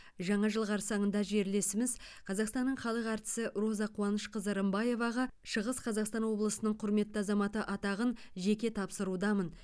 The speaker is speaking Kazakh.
жаңа жыл қарсаңында жерлесіміз қазақстанның халық әртісі роза қуанышқызы рымбаеваға шығыс қазақстан облысының құрметті азаматы атағын жеке тапсырудамын